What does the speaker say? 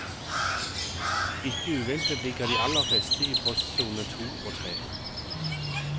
Ikke uventet ligger de aller fleste i postsone to og tre.